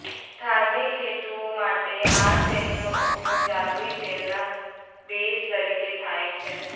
ધાર્મિક હેતુઓ માટે આ તેલનો ઉપયોગ જાદુઈ તેલના બેઝ તરીકે થાય છે